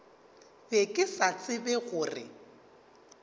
be ke sa tsebe gore